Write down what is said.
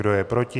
Kdo je proti?